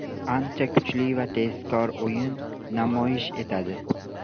Ancha kuchli va tezkor o‘yin namoyish etadi.